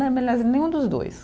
nenhum dos dois.